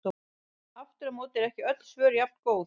Aftur á móti eru ekki öll svör jafngóð.